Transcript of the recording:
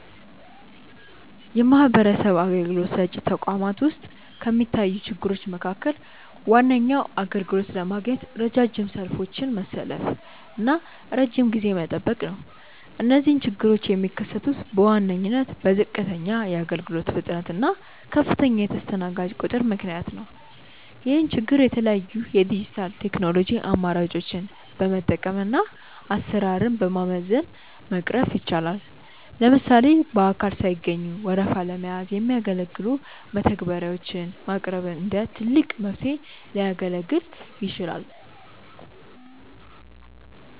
የማህበረሰብ አገልግሎት ሰጪ ተቋማት ውስጥ ከሚታዩ ችግሮች መካከል ዋነኛው አገልግሎት ለማግኘት ረጃጅም ሰልፎችን መሰለፍና ረጅም ጊዜ መጠበቅ ነው። እነዚህ ችግሮች የሚከሰቱት በዋነኝነት በዝቅተኛ የአገልግሎት ፍጥነት እና ከፍተኛ የተስተናጋጅ ቁጥር ምክንያት ነው። ይህን ችግር የተለያዩ የዲጂታል ቴክኖሎጂ አማራጮችን በመጠቀምና አሰራርን በማዘመን መቅረፍ ይቻላል። ለምሳሌ በአካል ሳይገኙ ወረፋ ለመያዝ የሚያገለግሉ መተግበሪያዎች ማቅረብ እንደ ትልቅ መፍትሄ ሊያገለግል ይችላል።